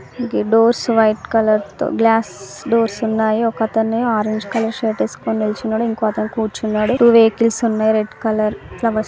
doors white colour తోగ్లాస్ doors ఉన్నాయి ఒకతను ఆరంజ్ కలర్ షర్ట్ ఏస్కోని నిల్చున్నాడు ఇంకో అతను కూర్చున్నాడు త్వో వెహికల్స్ ఉన్నాయ్ రెడ్ కలర్ ఫ్లో --